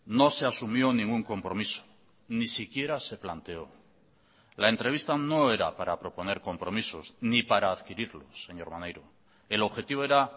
no se asumió ningún compromiso ni siquiera se planteó la entrevista no era para proponer compromisos ni para adquirirlos señor maneiro el objetivo era